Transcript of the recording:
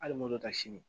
Hali moto ta sini